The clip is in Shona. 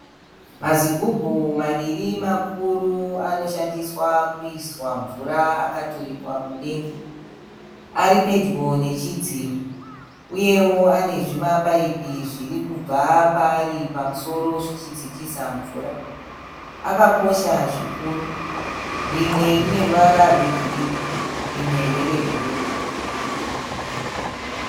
Mazigumbu maviri makuru anoshandiswa kuiswa mvura akaturikwa mudenga. Ari pedyo nechidziro. Uyewo ane zvimapaipi zviri kubva paari pamusoro zvichidzikisa mvura. Akakosha zvikuru. Rimwe rine ruvara rwegirini rimwe nderebhuruu.